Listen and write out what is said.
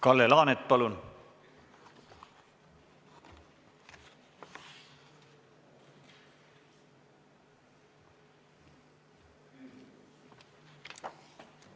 Kalle Laanet, palun!